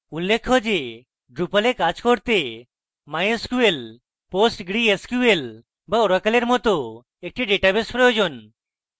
উল্লেখ্য যে drupal a কাজ করতে mysql postgresql বা oracle এর মত একটি ডেটাবেস প্রয়োজন